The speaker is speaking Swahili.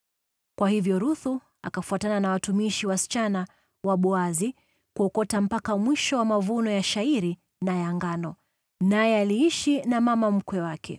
Kwa hivyo Ruthu akafuatana na watumishi wa kike wa Boazi, akaokota mpaka mwisho wa mavuno ya shayiri na ya ngano. Naye aliishi na mama mkwe wake.